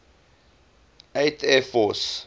eighth air force